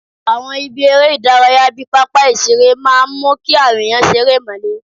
Àwọn ibi eré ìdárayá bíi pápá ìṣeré máa ń mú káwọn èèyàn ṣe eré ìmárale